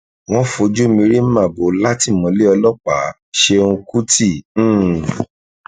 wọn fojú mi rí màbo látìmọlẹ ọlọpàáṣẹùn kùtì um